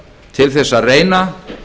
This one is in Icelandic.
til þess að reyna